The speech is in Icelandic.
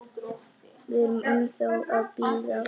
Við erum ennþá að bíða.